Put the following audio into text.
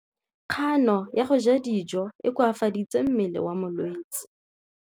Kganô ya go ja dijo e koafaditse mmele wa molwetse.